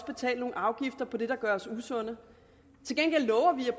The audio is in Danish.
betale nogle afgifter på det der gør os usunde til gengæld lover vi at